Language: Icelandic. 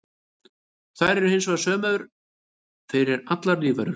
Þær eru hinar sömu fyrir allar lífverur.